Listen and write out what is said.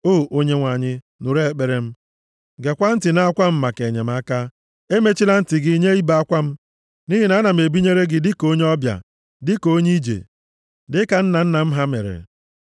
“O Onyenwe anyị, nụrụ ekpere m, gekwaa ntị nʼakwa m maka enyemaka; emechila ntị gị nye ibe akwa m. Nʼihi ana m ebinyere gị dịka onye ọbịa, dịka onye ije, dịka nna nna m ha mere.